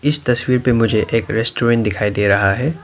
इस तस्वीर पे मुझे एक रेस्टोरेंट दिखाई दे रहा है।